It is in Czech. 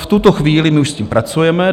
V tuto chvíli my už s tím pracujeme.